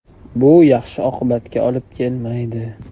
Bu yaxshi oqibatga olib kelmaydi.